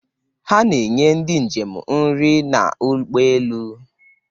Ha na-enye ndị njem nri n'ụgbọelu